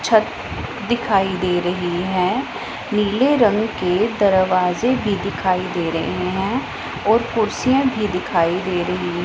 छत दिखाई दे रही हैं नीले रंग के दरवाजे भी दिखाई दे रहे हैं और कुर्सियां भी दिखाई दे रही हैं।